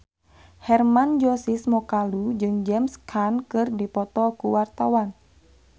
Hermann Josis Mokalu jeung James Caan keur dipoto ku wartawan